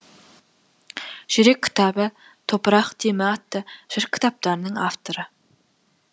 жүрек кітабы топырық демі атты жыр кітаптарының авторы